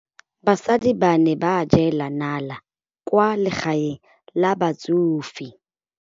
Basadi ba ne ba jela nala kwaa legaeng la batsofe.